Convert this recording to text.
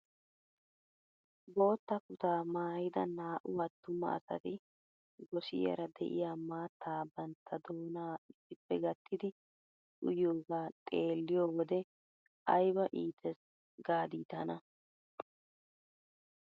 Bootta kutaa maayida naa"u attuma asati gosiyaara de'iyaa maattaa bantta doonaa issippe gattidi uyiyoogaa xeelliyoo wode ayba iites gaadi tana!